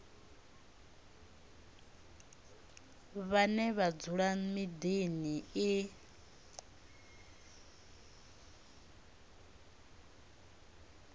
vhane vha dzula miḓini i